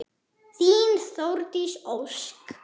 Þín Þórdís Ósk.